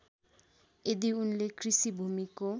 यदि उनले कृषिभूमिको